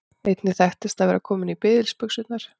Einnig þekkist að vera kominn í biðilsbuxurnar.